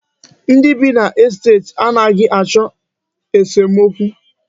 Ndị bi n'estet a naghị achọ esomokwu.